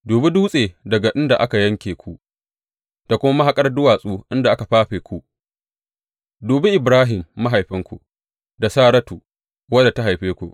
Dubi dutse daga inda aka yanke ku da kuma mahaƙar duwatsu inda aka fafe ku; dubi Ibrahim, mahaifinku, da Saratu, wadda ta haife ku.